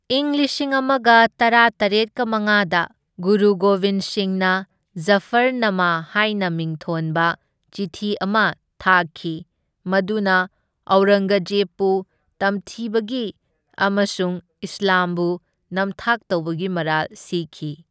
ꯏꯪ ꯂꯤꯁꯤꯡ ꯑꯃꯒ ꯇꯔꯥꯇꯔꯦꯠꯀ ꯃꯉꯥꯗ, ꯒꯨꯔꯨ ꯒꯣꯕꯤꯟ ꯁꯤꯡꯅ ꯖꯐꯔꯅꯥꯃꯥ ꯍꯥꯏꯅ ꯃꯤꯡꯊꯣꯟꯕ ꯆꯤꯊꯤ ꯑꯃ ꯊꯥꯈꯤ, ꯃꯗꯨꯅ ꯑꯧꯔꯪꯒꯖꯦꯕꯄꯨ ꯇꯝꯊꯤꯕꯒꯤ ꯑꯃꯁꯨꯡ ꯏꯁꯂꯥꯝꯕꯨ ꯅꯝꯊꯥꯛ ꯇꯧꯕꯒꯤ ꯃꯔꯥꯜ ꯁꯤꯈꯤ꯫